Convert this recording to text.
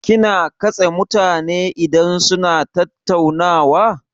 Kina katse mutane idan suna tattaunawa?